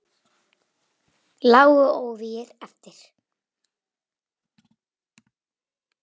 Lágu óvígir eftir.